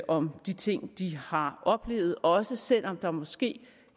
om de ting de har oplevet også selv om der måske